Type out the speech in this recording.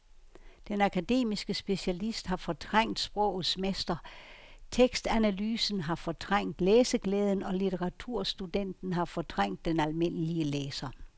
Den akademiske specialist har fortrængt sprogets mester, tekstanalysen har fortrængt læseglæden og litteraturstudenten har fortrængt den almindelige læser.